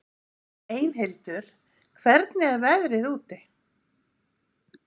Einhildur, hvernig er veðrið úti?